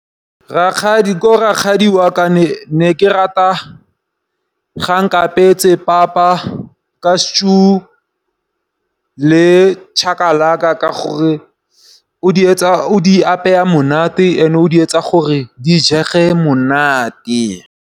Ko rakgadi wa ka ne ke rata ga a nkapetse papa ka stew le chakalaka ka gore o di apeya monate and-e o di etsa gore di jege monate.